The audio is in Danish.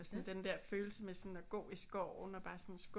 Og sådan den der følelse med sådan at gå i skoven og bare sådan skubbe